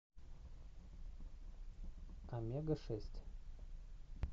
омега шесть